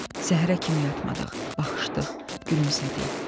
Səhərə kimi yatmadıq, baxışdıq, gülümsədik.